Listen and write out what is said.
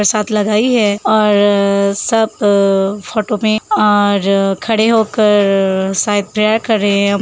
साथ लगाई है और सब फोटो में और खड़े होकर शायद प्रेयर कर रहे हैं।